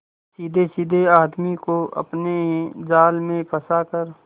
सीधेसाधे आदमी को अपने जाल में फंसा कर